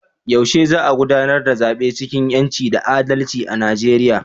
Yaushe za a gudanar da zabe cikin 'yanci da adalci a Nijeriya?